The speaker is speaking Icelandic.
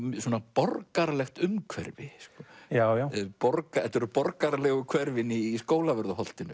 borgaralegt umhverfi já já þetta eru borgaralegu hverfin í Skólavörðuholtinu